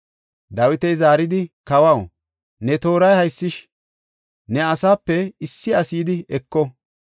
Dawiti zaaridi, “Kawaw, ne tooray haysish, ne asaape issi asi yidi eko.